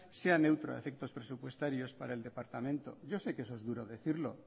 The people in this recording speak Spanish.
sea neutro a efectos presupuestarios para el departamento yo sé que eso es duro decirlo